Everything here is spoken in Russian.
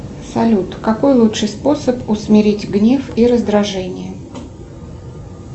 салют какой лучший способ усмирить гнев и раздражение